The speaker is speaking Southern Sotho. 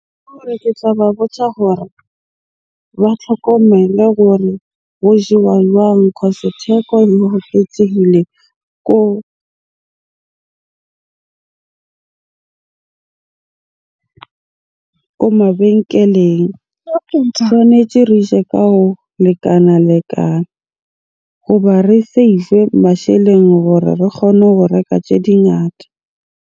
Ke hore ke tla ba botja hore ba tlhokomelo hore ho jewa jwang? Cause theko e oketsehile ko ko mabenkeleng. Tshwanetje re je ka ho lekana-lekana hoba re save-e masheleng hore re kgone ho reka tje dingata.